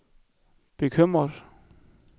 bekymret